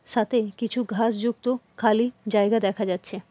সাতেন কিছু ঘাস যুক্ত খালি জায়গা দেখা যাচ্ছে।